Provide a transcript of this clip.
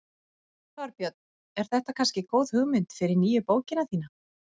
Þorbjörn: Er þetta kannski góð hugmynd fyrir nýju bókina þína?